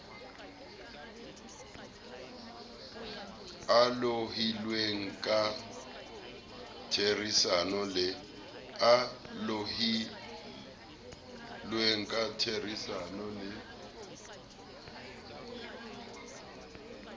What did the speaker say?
a lohilweng ka therisano le